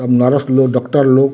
सब नरस लोग डॉक्टर लोग --